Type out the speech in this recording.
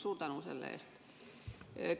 Suur tänu selle eest!